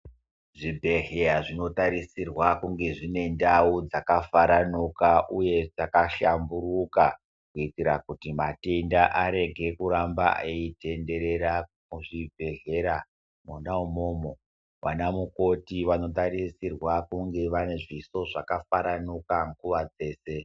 Zvibhedhleya zvinotarisirwa kunge zvine ndau dzakafaranuka uye dzakahlamburuka. Kuitira kuti matenda arege kuramba eitenderera muzvibhedhlera mwona umwomwo. Anamukoti vanotarisirwa kunge vane zviso zvakafaranuka nguwa dzeshe.